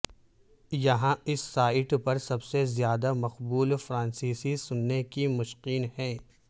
یہاں اس سائٹ پر سب سے زیادہ مقبول فرانسیسی سننے کی مشقیں ہیں